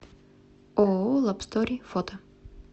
ооо лабстори фото